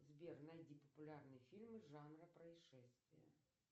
сбер найти популярные фильмы жанра происшествия